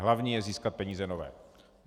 Hlavní je získat peníze nové.